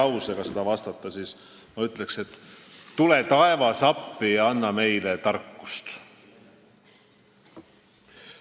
Kui ühe lausega vastata, siis ütleksin, et tule, taevas, appi ja anna meile tarkust.